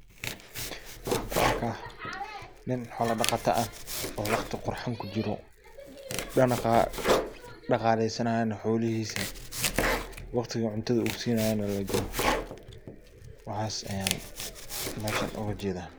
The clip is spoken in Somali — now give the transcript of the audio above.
Waxan ku arkaya nin xola daqata ah oo waqti qurxan kujiro. Dhaqaleysanayo xolihisa waqti uu cuntada sinaye lajogo waxas ayan meshan oga jedaa.